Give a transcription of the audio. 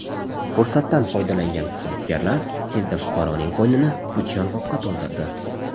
Fursatdan foydalangan firibgarlar tezda fuqaroning qo‘ynini puch yong‘oqqa to‘ldirdi.